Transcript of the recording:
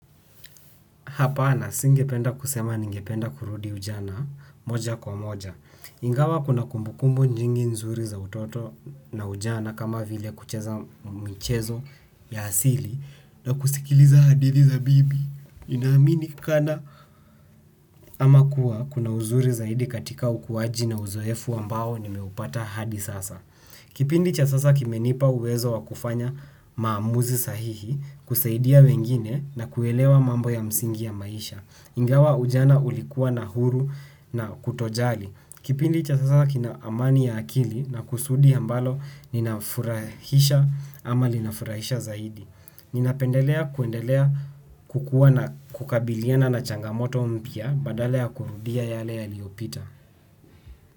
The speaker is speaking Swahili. Hapana singependa kusema ningependa kurudi ujana moja kwa moja ingawa kuna kumbukumbu nyingi nzuri za utoto ujana kama vile kucheza michezo ya asili na kusikiliza hadithi za bibi. Inaaminikana ama kuwa kuna uzuri zaidi katika ukuwaji na uzoefu ambao nimeupata hadi sasa. Kipindi cha sasa kimenipa uwezo wa kufanya maamuzi sahihi kusaidia wengine na kuelewa mambo ya msingi ya maisha. Ingawa ujana ulikuwa na huru na kutojali. Kipindi cha sasa kinaamani ya akili na kusudi ambalo ninafurahisha ama linafurahisha zaidi. Ninapendelea kuendelea kukuwa na kukabiliana na changamoto mpya badala ya kurudia yale yaliopita.